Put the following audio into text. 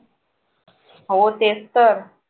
हो तेच तर